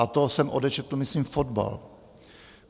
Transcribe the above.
A to jsem odečetl myslím fotbal.